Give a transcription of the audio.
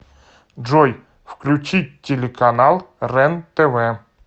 джой включить телеканал рен тв